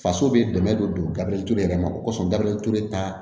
Faso bɛ dɛmɛ don gabeli ture yɛrɛ ma o kosɔn gaberɛ ture ta